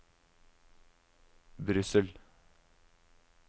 Brussel